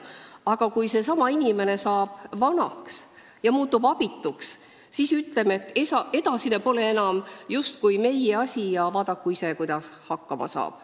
Aga kui seesama inimene saab vanaks ja muutub abituks, siis ütleme, et edasine pole enam justkui meie asi, vaadaku ise, kuidas hakkama saab.